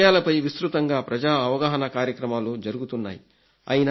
ఈ విషయాలపై విస్తృతంగా ప్రజా అవగాహన కార్యక్రమాలు జరుగుతున్నాయి